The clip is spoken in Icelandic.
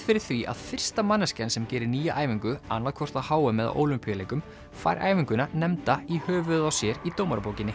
fyrir því að fyrsta manneskjan sem gerir nýja æfingu annað hvort á h m eða Ólympíuleikum fær æfinguna nefnda í höfuðið á sér í